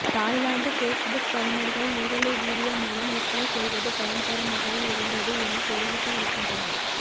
Thailand Facebook பயனர்கள் நேரலை video மூலம் விற்பனை செய்வது பயன் தரும் வகையில் இருந்தது என தெரிவித்து இருக்கிறன்றனர்